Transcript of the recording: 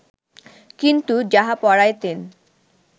কিন্তু যাহা পড়াইতেন